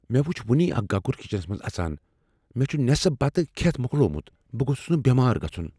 مےٚ وچھ وٕنی اکھ گگر کچنس منٛز اژان۔ مےٚ چھ نٮ۪صف بتہٕ کھٮ۪تھ مۄکلوومت۔ بہٕ گوٚژھس نہٕ بٮ۪مار گژھن۔